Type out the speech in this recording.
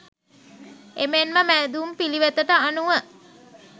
එමෙන්ම මැදුම් පිළිවෙතට අනුව